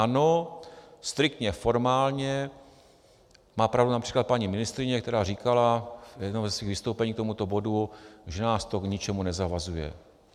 Ano, striktně formálně má pravdu například paní ministryně, která říkala v jednom ze svých vystoupení k tomuto bodu, že nás to k ničemu nezavazuje.